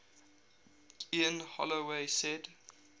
ian holloway said